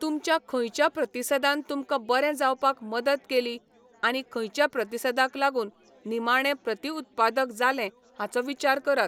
तुमच्या खंयच्या प्रतिसादान तुमकां बरे जावपाक मदत केली, आनी खंयच्या प्रतिसादाक लागून निमाणें प्रतिउत्पादक जालें हाचो विचार करात.